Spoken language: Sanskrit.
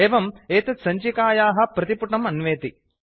एवं एतत् सञ्चिकायाः प्रतिपुटम् अन्वेति